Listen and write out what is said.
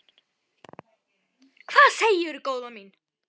Hvað segirðu góða mín?